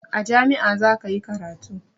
A jami'ah zakayi karatu